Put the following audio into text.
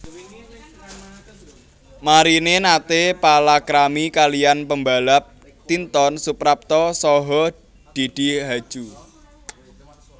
Marini naté palakrami kaliyan pembalap Tinton Suprapto saha Didi Haju